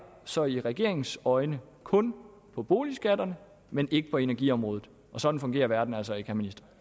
så i regeringens øjne kun for boligskatterne men ikke på energiområdet og sådan fungerer verden altså ikke